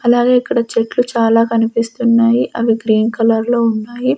అలాగే ఇక్కడ చెట్లు చాలా కనిపిస్తున్నాయి అవి గ్రీన్ కలర్లో ఉన్నాయి.